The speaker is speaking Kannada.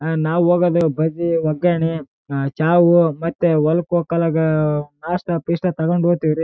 ಒಂದು ಚೆನ್ನಾಗಿರೋ ಹೋಟೆಲ್ ಇವಾಗ ಇವಾಗೆ ಬರಕತರ ತಿನಾಕ